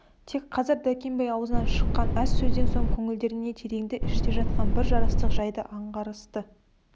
тек қазір дәркембай аузынан шыққан аз сөзден соң көңілдерінде тереңде іште жатқан бір жарастық жайды аңғарысты